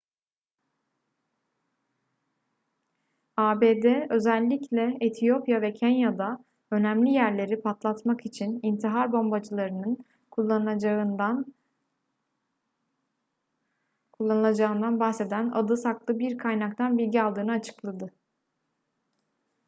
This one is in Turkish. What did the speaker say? abd özellikle etiyopya ve kenya'da önemli yerleri patlatmak için intihar bombacılarının kullanılacağından bahseden adı saklı bir kaynaktan bilgi aldığını açıkladı